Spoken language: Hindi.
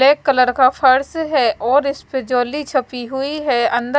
ब्लैक कलर का फर्श है और इस्पे छोली चप्पी हुई है अंदर--